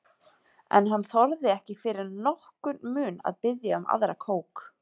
En hann þorði ekki fyrir nokkurn mun að biðja um aðra kók.